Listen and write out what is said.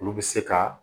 Olu bɛ se ka